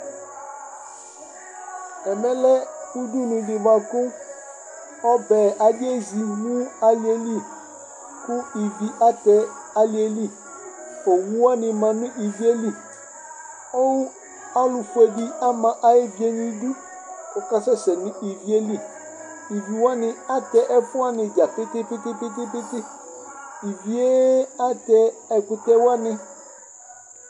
Ɛmɛlɛ ʋdʋnu di bʋakʋ ɔbɛ, adi ezi nʋ alí yɛ li kʋ ívì atɛ alìɛ li Owu wani ma nʋ ívì yɛ li Ɔlu fʋe di ama ayʋ ʋvie nʋ idu kʋ ɔkasɛsɛ nʋ ívì yɛ li Íví wani atɛ ɛfu wani dza pete pete pete Íví ye atɛ ɛkʋtɛ wani